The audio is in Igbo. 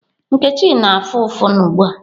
Nkechi na-afụ ụfụ ugbu a.